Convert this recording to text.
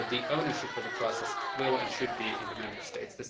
But the ownership of the process will and should be in the Member States.